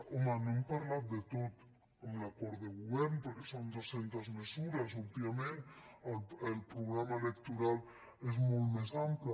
home no hem parlat de tot en l’acord de govern perquè són dues centes mesures òbviament el programa electoral és molt més ampli